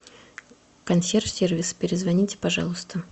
консьерж сервис перезвоните пожалуйста